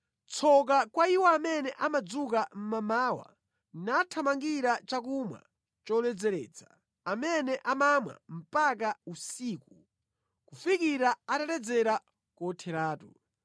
Tsoka kwa iwo amene amadzuka mmamawa nathamangira chakumwa choledzeretsa, amene amamwa mpaka usiku kufikira ataledzera kotheratu.